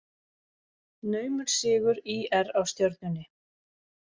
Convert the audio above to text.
Naumur sigur ÍR á Stjörnunni